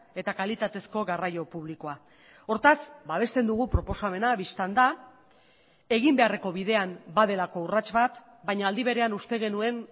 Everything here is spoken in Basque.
eta kalitatezko garraio publikoa hortaz babesten dugu proposamena bistan da egin beharreko bidean badelako urrats bat baina aldi berean uste genuen